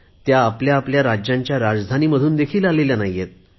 त्या आपल्या आपल्या राज्यांच्या राजधानीमधून देखील आलेल्या नाहीत